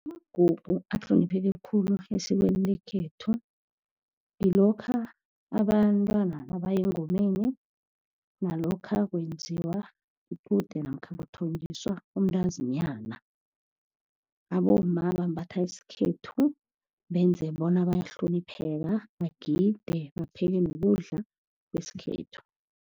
Amagugu ahlonipheke khulu esikweni lekhethu, ngilokha abantwana nabaya engomeni, nalokha nakwenziwa iqude namkha kuthonjiswa umntazinyana. Abomma bambatha isikhethu, benze bona bayahlonipheka. Bagide bapheke nokudla kwesikhethu.